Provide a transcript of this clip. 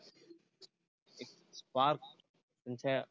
एक spark त्यांच्या